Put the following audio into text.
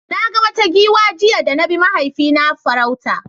Na ga wata giwa jiya da na bi mahaifina farauta.